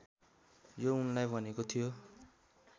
यो उनलाई भनेको थियो